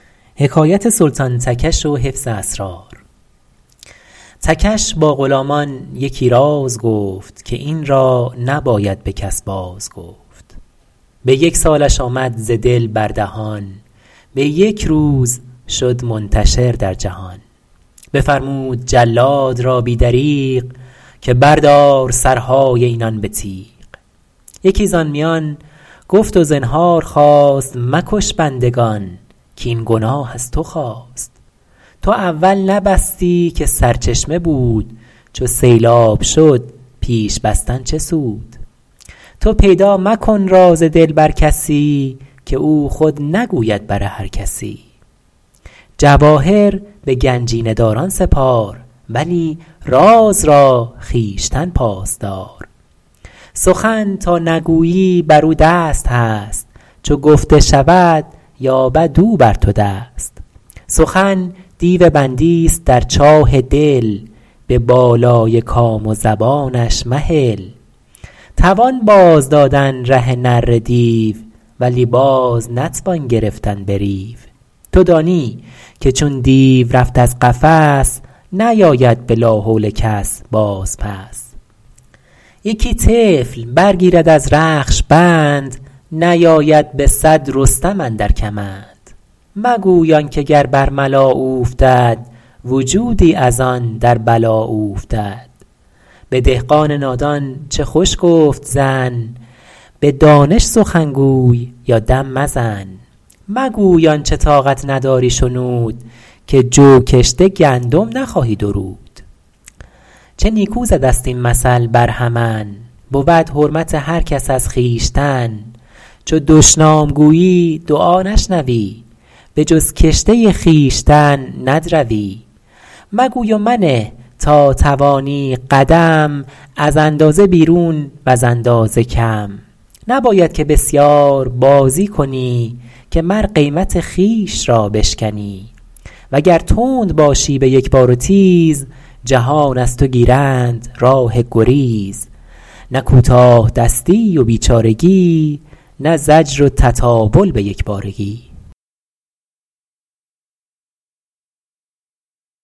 تکش با غلامان یکی راز گفت که این را نباید به کس باز گفت به یک سالش آمد ز دل بر دهان به یک روز شد منتشر در جهان بفرمود جلاد را بی دریغ که بردار سرهای اینان به تیغ یکی زآن میان گفت و زنهار خواست مکش بندگان کاین گناه از تو خاست تو اول نبستی که سرچشمه بود چو سیلاب شد پیش بستن چه سود تو پیدا مکن راز دل بر کسی که او خود نگوید بر هر کسی جواهر به گنجینه داران سپار ولی راز را خویشتن پاس دار سخن تا نگویی بر او دست هست چو گفته شود یابد او بر تو دست سخن دیو بندی است در چاه دل به بالای کام و زبانش مهل توان باز دادن ره نره دیو ولی باز نتوان گرفتن به ریو تو دانی که چون دیو رفت از قفس نیاید به لا حول کس باز پس یکی طفل بر گیرد از رخش بند نیاید به صد رستم اندر کمند مگوی آن که گر بر ملا اوفتد وجودی از آن در بلا اوفتد به دهقان نادان چه خوش گفت زن به دانش سخن گوی یا دم مزن مگوی آنچه طاقت نداری شنود که جو کشته گندم نخواهی درود چه نیکو زده ست این مثل برهمن بود حرمت هر کس از خویشتن چو دشنام گویی دعا نشنوی به جز کشته خویشتن ندروی مگوی و منه تا توانی قدم از اندازه بیرون وز اندازه کم نباید که بسیار بازی کنی که مر قیمت خویش را بشکنی وگر تند باشی به یک بار و تیز جهان از تو گیرند راه گریز نه کوتاه دستی و بیچارگی نه زجر و تطاول به یک بارگی